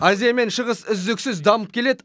азия мен шығыс үздіксіз дамып келеді